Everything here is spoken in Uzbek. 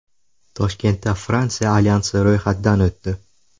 Toshkentda Fransiya alyansi ro‘yxatdan o‘tdi.